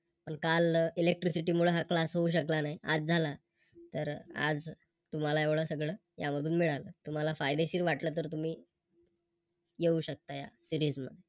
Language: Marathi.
पण काल Electricity मूळ हा Class होऊ शकला नाही. आज झाला तर आज तुम्हाला एवढं सगळ यामधून मिळाल. तुम्हाला फायदेशीर वाटलं तर तुम्ही येऊ शकता या Series